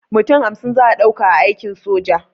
Mutum hamsin za'a ɗauka a aikin sojan